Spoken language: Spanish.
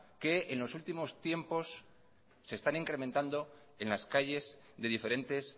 que en los últimos tiempos se están incrementando en las calles de diferentes